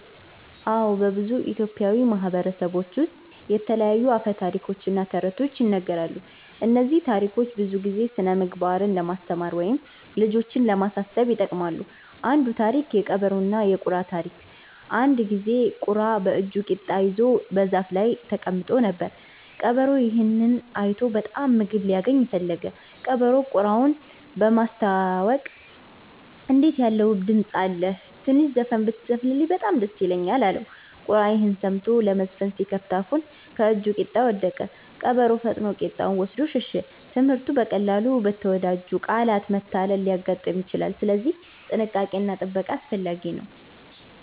አዎ፣ በብዙ ኢትዮጵያዊ ማህበረሰቦች ውስጥ የተለያዩ አፈ ታሪኮች እና ተረቶች ይነገራሉ። እነዚህ ታሪኮች ብዙ ጊዜ ስነ-ምግባር ለማስተማር ወይም ልጆችን ለማሳሰብ ይጠቅማሉ። አንዱ ታሪክ (የቀበሮና የቁራ ታሪክ) አንድ ጊዜ ቁራ በእጁ ቂጣ ይዞ በዛፍ ላይ ተቀምጦ ነበር። ቀበሮ ይህን አይቶ በጣም ምግብ ሊያገኝ ፈለገ። ቀበሮው ቁራውን በማስታወቅ “እንዴት ያለ ውብ ድምፅ አለህ! ትንሽ ዘፈን ብትዘፍን በጣም ደስ ይለኛል” አለው። ቁራ ይህን ሰምቶ ለመዘፈን ሲከፍት አፉን ከእጁ ቂጣ ወደቀ። ቀበሮ ፈጥኖ ቂጣውን ወስዶ ሸሸ። ትምህርቱ: በቀላሉ በተወዳጅ ቃላት መታለል ሊያጋጥም ይችላል፣ ስለዚህ ጥንቃቄ እና ጥበቃ አስፈላጊ ነው።